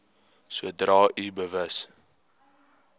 sodra u bewus